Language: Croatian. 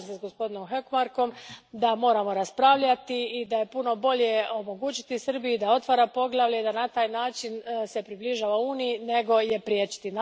Slažem se s gospodinom Hökmarkom da moramo raspravljati i da je puno bolje omogućiti Srbiji da otvara poglavlje i da se na taj način približava Uniji, nego je priječiti.